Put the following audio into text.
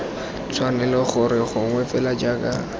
tshwanela gore gonne fela jaaka